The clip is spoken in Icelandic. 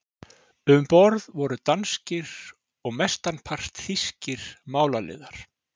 Um borð voru danskir og mestanpart þýskir málaliðar.